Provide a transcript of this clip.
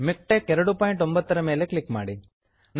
ಮಿಕ್ಟೆಕ್ಸ್ MiKTeX 29 ಮೇಲೆ click ಮಾಡಿ